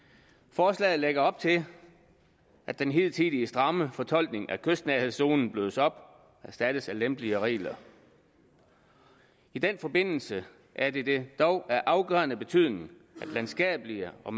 forslaget lægger op til at den hidtidige stramme fortolkning af kystnærhedszonen blødes op og erstattes af lempeligere regler i den forbindelse er det det dog af afgørende betydning at landskabelige og